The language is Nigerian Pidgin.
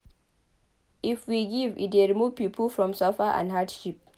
If we give e dey remove pipo from suffer and hardship